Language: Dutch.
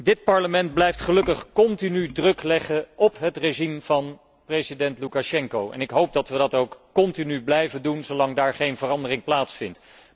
Dit Parlement blijft gelukkig continu druk leggen op het regime van president Loekasjenko en ik hoop dat we dat ook blijven doen, zolang daar geen verandering plaatsvindt.